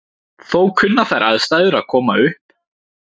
Þó kunna þær aðstæður að koma upp.